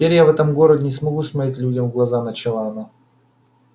теперь я в этом городе не смогу смотреть людям в глаза начала она